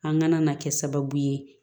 An ŋana na kɛ sababu ye